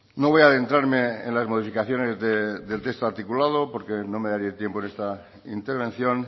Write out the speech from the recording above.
no voy a adentrarme en las modificaciones del texto articulado porque no me daría tiempo en esta intervención